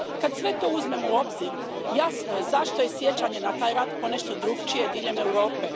Kad sve to uzmemo u obzir, jasno je zašto je sjećanje na taj rat ponešto drukčije diljem Europe.